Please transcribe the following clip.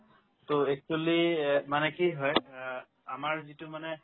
to actually ইয়াত মানে কি হয় অ আমাৰ যিটো মানে